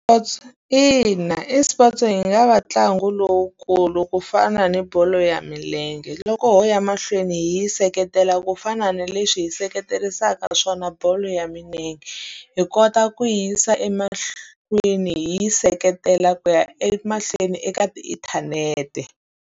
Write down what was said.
ina eSports yi nga va ntlangu lowukulu ku fana ni bolo ya milenge, loko ho ya mahlweni hi yi seketela ku fana na leswi hi seketerisaka swona bolo ya milenge. Hi kota ku yi yisa emahlweni hi yi seketela ku ya emahlweni eka tiinthanete.